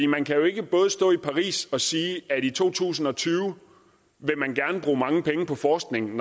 man kan jo ikke både stå i paris og sige at i to tusind og tyve vil man gerne bruge mange penge på forskning